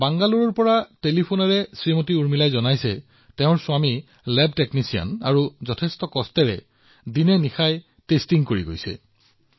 বাংগালুৰুৰ উৰ্মিলাজীয়ে মোক কৈছিল যে তেওঁৰ স্বামী লেব টেকনিচিয়ান আৰু তেওঁ কেনেকৈ বহুতো প্ৰত্যাহ্বানৰ মাজতো নিৰন্তৰে কাম কৰি আছে সেয়াও বৰ্ণনা কৰিছে